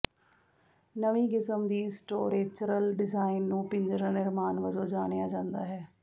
ਨਵੀਂ ਕਿਸਮ ਦੀ ਸਟੋਰੇਚਰਲ ਡਿਜ਼ਾਇਨ ਨੂੰ ਪਿੰਜਰਾ ਨਿਰਮਾਣ ਵਜੋਂ ਜਾਣਿਆ ਜਾਂਦਾ ਹੈ